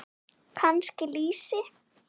Kannski lýsi?